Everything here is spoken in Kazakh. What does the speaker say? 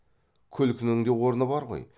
күлкінің де орны бар ғой